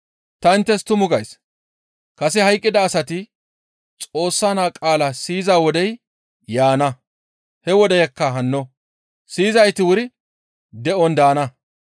Ta inttes tuma gays; kase hayqqida asati Xoossa naa qaala siyiza wodey yaana; he wodeyakka hanno; siyizayti wuri de7on daana.